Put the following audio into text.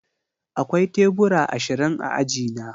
Akwai tebura ashirin a aji na